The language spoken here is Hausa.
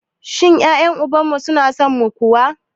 Shin ƴaƴen uban mu su na son mu kuwa?